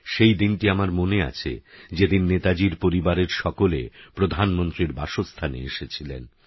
সেইদিনটি আমার মনে আছে যেদিন নেতাজীর পরিবারের সকলে প্রধানমন্ত্রীর বাসস্থানে এসেছিলেন